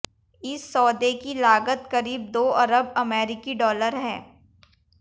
इस सौदे की लागत करीब दो अरब अमेरिकी डॉलर है